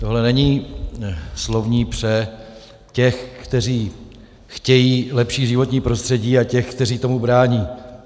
Tohle není slovní pře těch, kteří chtějí lepší životní prostředí, a těch, kteří tomu brání.